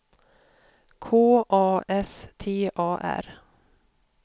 K A S T A R